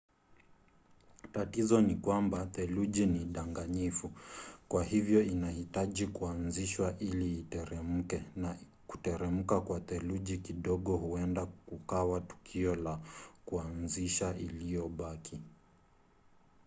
tatizo ni kwamba theluji ni danganyifu kwa hivyo inahitaji kuanzishwa ili iteremke na kuteremka kwa theluji kidogo huenda kukawa tukio la kuanzisha iliyobaki